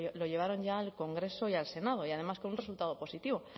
lo llevaron ya al congreso y al senado y además con un resultado positivo